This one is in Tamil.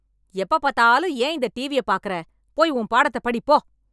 எப்ப பாத்தாலும் ஏன் இந்த டிவியை பாக்குற போய் உன் பாடத்தை படிப்போ